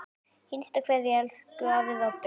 HINSTA KVEÐJA Elsku afi Robbi.